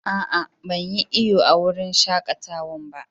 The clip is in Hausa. Aa, ban yi iyo a'wurin shakatawan ba.